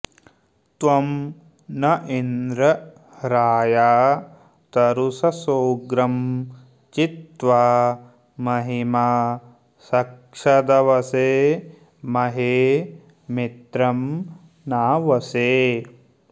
त्वं न इन्द्र राया तरूषसोग्रं चित्त्वा महिमा सक्षदवसे महे मित्रं नावसे